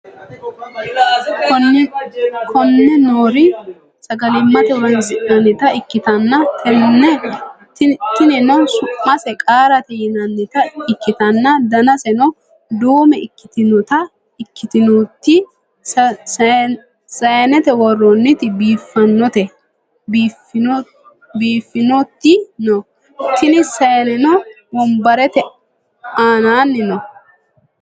konne noori sagalimmate horonsi'nannita ikkitanna, tinino su'mase qaarate yinannita ikkitanna, danaseno duume ikkitinoti saanete worroonniti biiffinoti no, tini saaneno wonbarete aanaanni no.